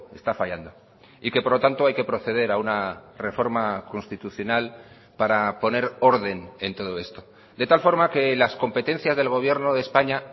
está fallando y que por lo tanto hay que proceder a una reforma constitucional para poner orden en todo esto de tal forma que las competencias del gobierno de españa